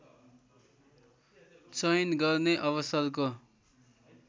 चयन गर्ने अवसरको